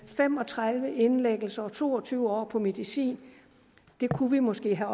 fem og tredive indlæggelser og to og tyve år på medicin det kunne vi måske have